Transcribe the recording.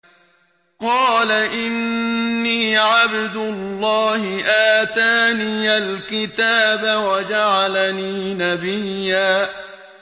قَالَ إِنِّي عَبْدُ اللَّهِ آتَانِيَ الْكِتَابَ وَجَعَلَنِي نَبِيًّا